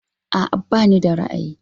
A'a bani da ra'ayi.